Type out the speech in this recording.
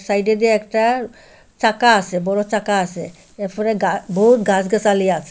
সাইডে দিয়ে একটা চাকা আসে বড় চাকা আসে এরফরে গা বহুত গাসগাসালি আসে।